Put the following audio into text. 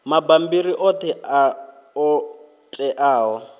mabammbiri oṱhe a ṱo ḓeaho